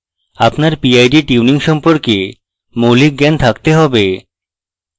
আপনার pid tuning সম্পর্কে মৌলিক জ্ঞান থাকতে have